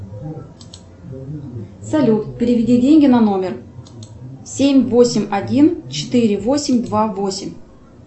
салют переведи деньги на номер семь восемь один четыре восемь два восемь